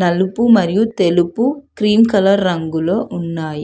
నలుపు మరియు తెలుపు క్రీమ్ కలర్ రంగులో ఉన్నాయి.